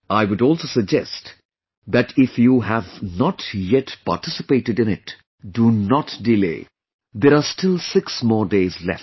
I would also suggest that if you have not yet participated in it, do not delay, there are still six more days left